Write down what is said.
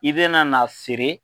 I bɛna n'a siri.